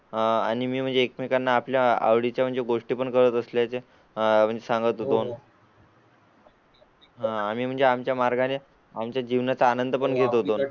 आणि म्हणजे एकमेकांना आपल्या आवडी च्या गोष्टी पण करत असल्याचे आह म्हणजे सांगतो दोन. होय, होय म्हणून मी आमच्या जीवनाचा आमच्या पद्धतीने आनंद घेत होतो.